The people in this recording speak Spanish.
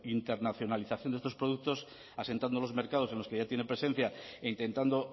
internacionalización de estos productos asentando los mercados en los que ya tienen presencia e intentando